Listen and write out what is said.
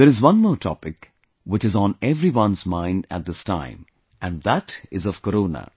There is one more topic, which is on everyone's mind at this time and that is of Corona